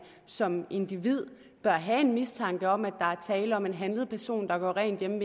som individ bør have mistanke om at der er tale om en handlet person der gør rent hjemme